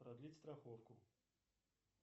продлить страховку